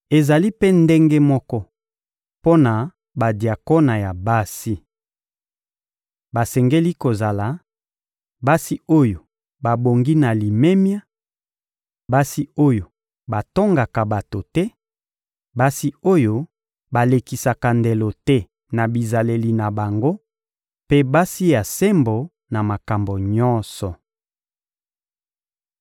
Ezali mpe ndenge moko mpo na badiakona ya basi. Basengeli kozala: basi oyo babongi na limemia, basi oyo batongaka bato te, basi oyo balekisaka ndelo te na bizaleli na bango mpe basi ya sembo na makambo nyonso.